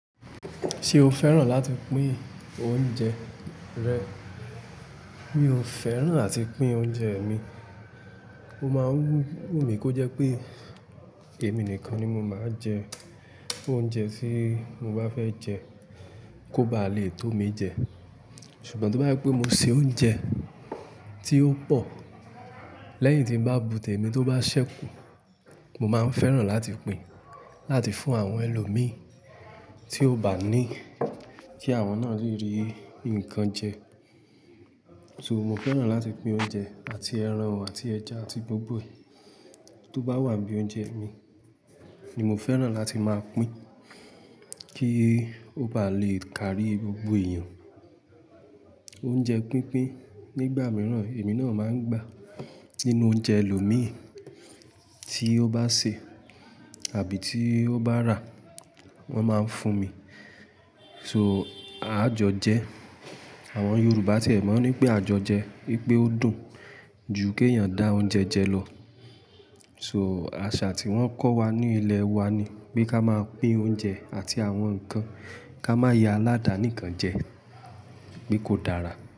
Ṣé o fẹ́ràn láti pín oúnjẹ rẹ̀? Mi ò fẹ́ràn láti pín oúnjẹ mi. O máa ń wù mí kó jẹ́ pé kì èmi nìkan ni mo máa jẹ oúnjẹ tí mo bá fẹ́ jẹ, kó bá lè tó mi jẹ. Ṣùgbọ́n tó bá jẹ pé mo ṣe oúnjẹ tí ó pọ̀ lẹ́yìn tí n bá bu tẹ̀mi tó bá ṣẹ́kù, mo máa ń fẹ́ràn láti pín, láti fún àwọn ẹlòmíí tí ó bá ní kí àwọn náà le rí nǹkan jẹ. So, mo fẹ́ràn láti pín oúnjẹ àti ẹran àti ẹja àti gbogbo e tó bá wà n bí i oúnjẹ mi ni mo fẹ́ràn láti máa pín kí ó bá lè kárí gbogbo èèyàn. Oúnjẹ pínpín nígbà mìíràn èmi náà máa ń gbà nínú oúnjẹ ẹlòmíì tí ó bá sè àbí tí ó bá rà wọ́n máa ń fún mi. So, à jọ jẹ, àwọn Yorùbá tiẹ̀ mọ̀ n ní pé àjọjẹ wípé ó dùn ju kí èèyàn dá oúnjẹ jẹ lọ. So, àṣà tí wọ́n kọ́ wa ní ilẹ̀ wa ni pé ká máa pín oúnjẹ àti àwọn nǹkan, ká má ya aládàánìkan jẹ, pe kò dára.